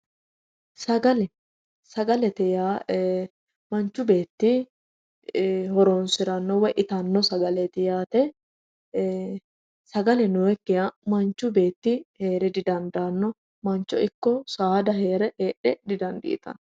Sagale, sagalete yaa manchi beetti horonsiranotta woyi ittanotta sagaleti yaate,e"e sagale nooyikkiha manchi beetti heere didandaano ,mancho ikko saada heedhe didandiittano.